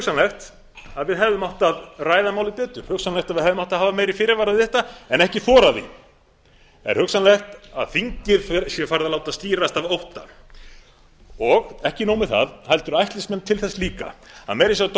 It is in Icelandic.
hugsanlegt að við hefðum átt að ræða málið betur hugsanlegt að við hefðum átt að hafa meiri fyrirvara um þetta en ekki þorað því það er hugsanlegt að þingið sé farið að láta stýrast af ótta ekki nóg með það heldur ætlist menn til þess líka að meira að segja